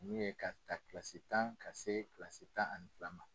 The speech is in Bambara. Mun ye ka taa kilasi tan ka se kilasi tan ani fila ma.